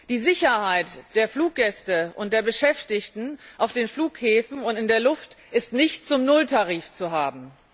Die Sicherheit der Fluggäste und der Beschäftigten auf den Flughäfen und in der Luft ist nicht zum Nulltarif zu haben.